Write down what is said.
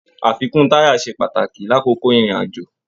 Àfikún taya se pàtàkì lakoko irin-ajo.